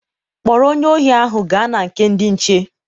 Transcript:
Kpọrọ onye ohi ahụ gaa na nke ndị nche.